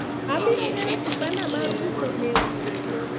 abiro gero kibanda mar uso lewni